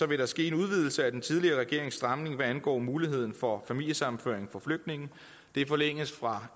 vil der ske en udvidelse af den tidligere regerings stramning hvad angår muligheden for familiesammenføring for flygtninge det forlænges fra